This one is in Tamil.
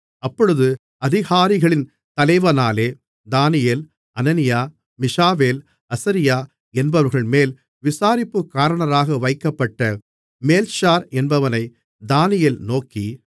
அப்பொழுது அதிகாரிகளின் தலைவனாலே தானியேல் அனனியா மீஷாவேல் அசரியா என்பவர்கள்மேல் விசாரிப்புக்காரனாக வைக்கப்பட்ட மேல்ஷார் என்பவனை தானியேல் நோக்கி